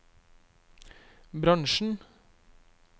bransjen